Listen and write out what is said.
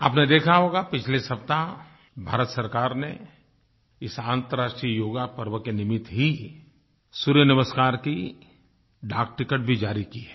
आपने देखा होगा पिछले सप्ताह भारत सरकार ने इस अन्तर्राष्ट्रीय योगपर्व के निमित्त ही सूर्य नमस्कार की डाक टिकट भी जारी की है